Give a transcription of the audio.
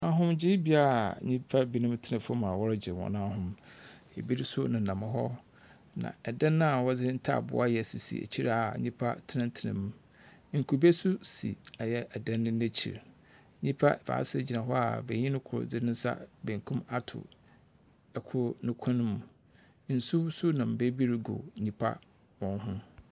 Ahomgyeebea a nnipabinom tena fam a wɔregye wɔn ahome, ebinom nso nenam hɔ. na ɛdan a wɔdze ntaaboo ayɛ sisi akyire a nnipa tenatena mu. Nkube nso si ɔyɛ ɛdan yi n’akyi. Nnipa baasa gyina hɔ a benyin koro de ne nsa benkum ato ɛkoro ne kɔn mu. Nsu nso nam baabi regu nnipa wɔn ho.